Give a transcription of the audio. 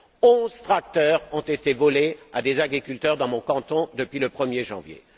Onze tracteurs ont été volés à des agriculteurs dans mon canton depuis le 1er janvier.